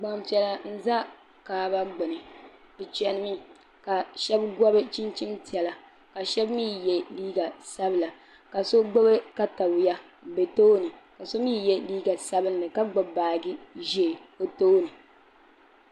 Gbampiɛla n za kaaba gbini bɛ cheni mi ka sheba gobi chinchini piɛla ka sheba mee ye liiga sabla ka so gbibi katawiya m be tooni ka so mee ye liiga sabinli ka gbibi baaji ʒee o tooni.